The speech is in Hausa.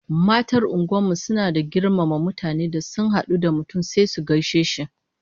Matan unguwar mu suna da girmama mutane, da sun hadu da mutum sai su gaishe shi